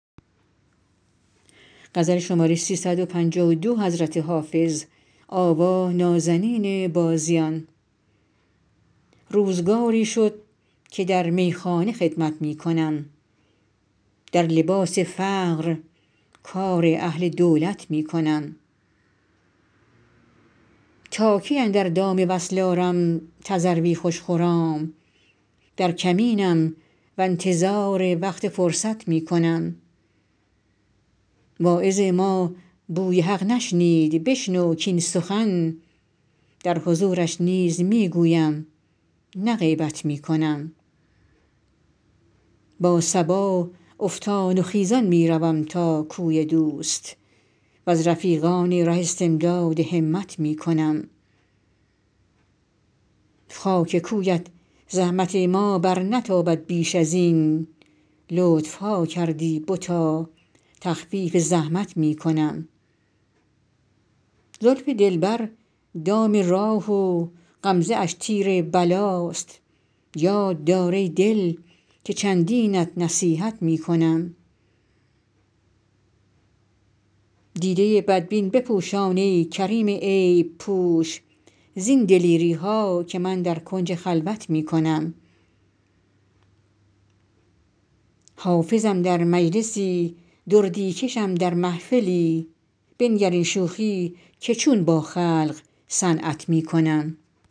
روزگاری شد که در میخانه خدمت می کنم در لباس فقر کار اهل دولت می کنم تا کی اندر دام وصل آرم تذروی خوش خرام در کمینم و انتظار وقت فرصت می کنم واعظ ما بوی حق نشنید بشنو کاین سخن در حضورش نیز می گویم نه غیبت می کنم با صبا افتان و خیزان می روم تا کوی دوست و از رفیقان ره استمداد همت می کنم خاک کویت زحمت ما برنتابد بیش از این لطف ها کردی بتا تخفیف زحمت می کنم زلف دلبر دام راه و غمزه اش تیر بلاست یاد دار ای دل که چندینت نصیحت می کنم دیده بدبین بپوشان ای کریم عیب پوش زین دلیری ها که من در کنج خلوت می کنم حافظم در مجلسی دردی کشم در محفلی بنگر این شوخی که چون با خلق صنعت می کنم